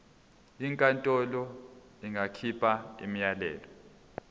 inkantolo ingakhipha umyalelo